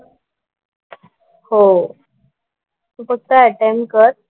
हो. तू फक्त अटेम्प्ट कर.